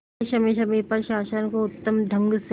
वह समय समय पर शासन को उत्तम ढंग से